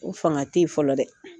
O fanga tɛ ye fɔlɔ dɛ